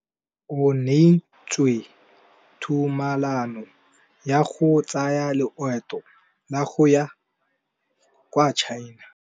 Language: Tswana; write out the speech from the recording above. O neetswe tumalanô ya go tsaya loetô la go ya kwa China.